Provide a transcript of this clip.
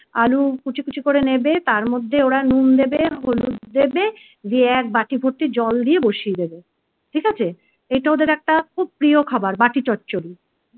আলু কুচি কুচি করে নেবে তার মধ্যে ওরা নুন দেবে হলুদ দেবে দিয়ে এক বাটি ভর্তি জল দিয়ে বসিয়ে দেবে ঠিক আছে এটা ওদের একটা খুব প্রিয় খাবার বাটি চচ্চড়ি